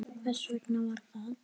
Hvers vegna var það?